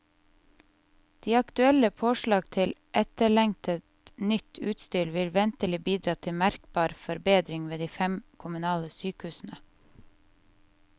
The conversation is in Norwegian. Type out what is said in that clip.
De aktuelle påslag til etterlengtet, nytt utstyr vil ventelig bidra til merkbar forbedring ved de fem kommunale sykehusene.